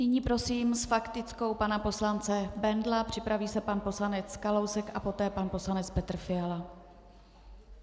Nyní prosím s faktickou pana poslance Bendla, připraví se pan poslanec Kalousek a poté pan poslanec Petr Fiala.